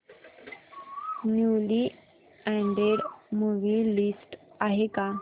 newly added movie list आहे का